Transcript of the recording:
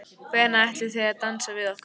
Hvenær ætlið þið að dansa við okkur?